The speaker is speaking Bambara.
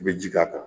I bɛ ji k'a kan